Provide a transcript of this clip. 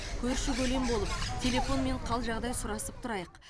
көрші көлем болып телефонмен хал жағдай сұрасып тұрайық